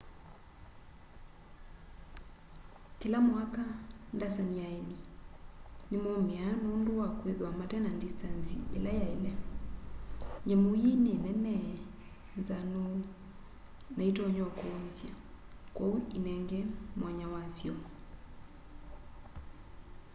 kila mwaka ndasani ya aeni nimomíaa nundu wa kwithwa mate na ndistanzi ila yaile. nyamu ii ni nene nzanu na itonya úkúúmísya kwoou inenge mwanya wasyo